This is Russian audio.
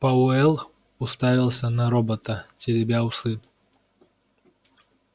пауэлл уставился на робота теребя усы